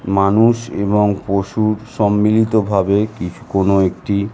মানুষ এবং পশুর সম্মিলিত ভাবে কি কোনো একটি।